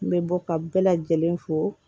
N bɛ bɔ ka bɛɛ lajɛlen fo